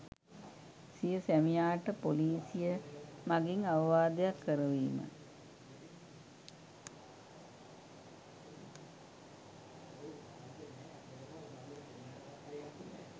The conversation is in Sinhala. සිය සැමියාට පොලිසිය මගින් අවවාදයක් කරවීම